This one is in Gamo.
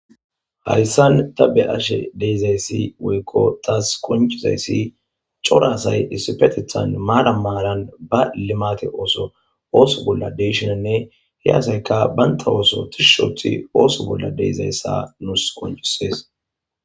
hayssan ta be'ashe deezayssi woykko taas qoncizayssi corasay issipetethan maara maalan ba limate ooso ooso bolla deyshinanne he asayka baynta ooso othishoothi ooso bolla deezayssa nuus qoncisees